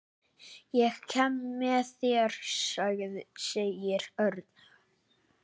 Ég kem með þér sagði Örn.